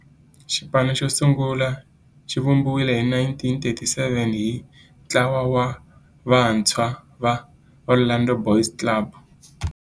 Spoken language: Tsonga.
Xipano xosungula xivumbiwile hi 1934 hi ntlawa wa vantshwa va Orlando Boys Club.